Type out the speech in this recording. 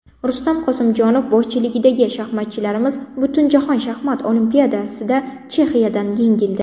Rustam Qosimjonov boshchiligidagi shaxmatchilarimiz Butunjahon Shaxmat Olimpiadasida Chexiyadan yengildi.